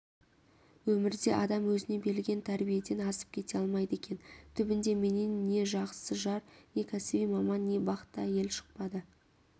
өмірде адам өзіне берілген тәрбиеден асып кете алмайды екен түбінде менен не жақсы жар не кәсіби маман не бақытты әйел шықпады